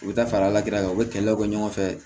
U bɛ taa fara la kɛrɛ kan u bɛ kɛlɛw kɛ ɲɔgɔnfɛ